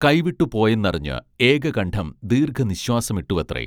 കൈവിട്ടു പോയെന്നറിഞ്ഞ് ഏകകണ്ഠം ദീർഘനിശ്വാസമിട്ടുവത്രേ